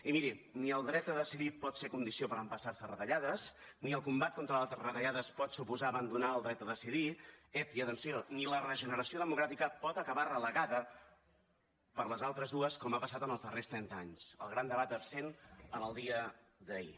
i miri ni el dret a decidir pot ser condició per empassar se retallades ni el combat contra les retallades pot suposar abandonar el dret a decidir ep i atenció ni la regeneració democràtica pot acabar relegada per les altres dues com ha passat en els darrers trenta anys el gran debat absent en el dia d’ahir